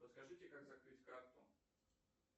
подскажите как закрыть карту